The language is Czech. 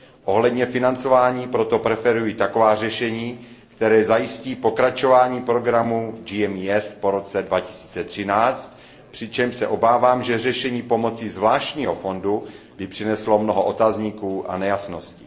Ohledně financování proto preferuji taková řešení, která zajistí pokračování programu GMES po roce 2013, přičemž se obávám, že řešení pomocí zvláštního fondu by přineslo mnoho otazníků a nejasností.